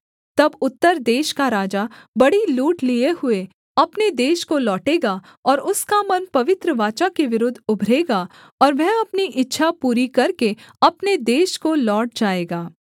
तब उत्तर देश का राजा बड़ी लूट लिए हुए अपने देश को लौटेगा और उसका मन पवित्र वाचा के विरुद्ध उभरेगा और वह अपनी इच्छा पूरी करके अपने देश को लौट जाएगा